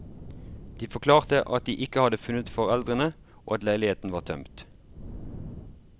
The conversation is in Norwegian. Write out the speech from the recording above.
De forklarte at de ikke hadde funnet foreldrene og at leiligheten var tømt.